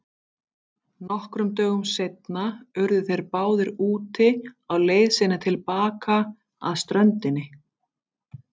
Nokkrum dögum seinna urðu þeir báðir úti á leið sinni til baka að ströndinni.